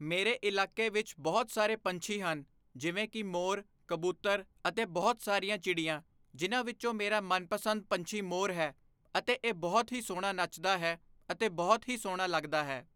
ਮੇਰੇ ਇਲਾਕੇ ਵਿੱਚ ਬਹੁਤ ਸਾਰੇ ਪੰਛੀ ਹਨ ਜਿਵੇਂ ਕਿ ਮੋਰ ਕਬੂਤਰ ਅਤੇ ਬਹੁਤ ਸਾਰੀਆਂ ਚਿੜੀਆਂ ਜਿਨ੍ਹਾਂ ਵਿੱਚੋਂ ਮੇਰਾ ਮਨਪਸੰਦ ਪੰਛੀ ਮੋਰ ਹੈ ਅਤੇ ਇਹ ਬਹੁਤ ਹੀ ਸੋਹਣਾ ਨੱਚਦਾ ਹੈ ਅਤੇ ਬਹੁਤ ਹੀ ਸੋਹਣਾ ਲੱਗਦਾ ਹੈ।